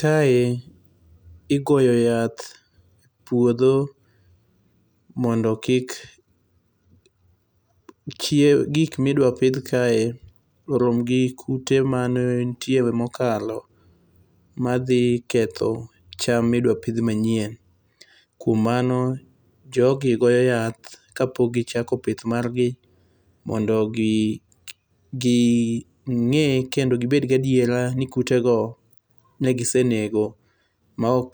Kae igoyo yath puodho mondo kik chie, gikma idwa pidh kae oromgi kute manenitie mokalo madhi ketho cham midwa pidh manyien, kuom mano jogi goyo yath kapok gichako pith margi mondo mi ginge kendo gibed gi adiera ni kutego ne gisenego maok